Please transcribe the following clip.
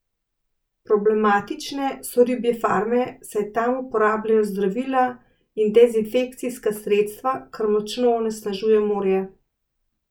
Problematične so ribje farme, saj tam uporabljajo zdravila in dezinfekcijska sredstva, kar močno onesnažuje morje.